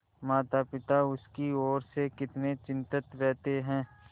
मातापिता उसकी ओर से कितने चिंतित रहते हैं